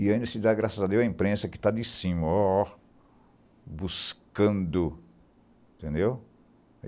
E ainda se dá graças a Deus a imprensa que está de cima, ó ó buscando.